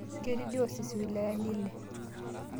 Ketii diocese wilayani ile